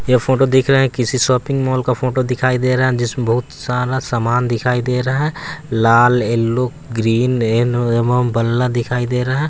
यह फोटो दिख रहा है किसी शॉपिंग मॉल का फोटो दिखाई दे रहा है जिसमें बहुत सारा सामान दिखाई दे रहा है। लाल येलो ग्रीन दिखाई दे रहा है।